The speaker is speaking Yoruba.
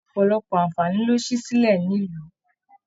Ọpọlọpọ aanfani ló sì silẹ nílu.